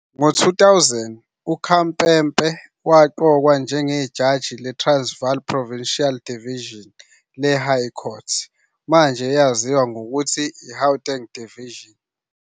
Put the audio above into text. Ngo-2000 uKhampepe waqokwa njengejaji leTransvaal Provincial Division le-High Court, manje eyaziwa ngokuthi iGauteng Division.